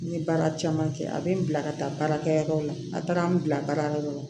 N ye baara caman kɛ a bɛ n bila ka taa baarakɛyɔrɔ la a taara n bila baarakɛ yɔrɔ la